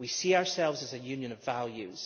We see ourselves as a union of values.